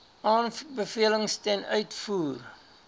aanbevelings ten uitvoer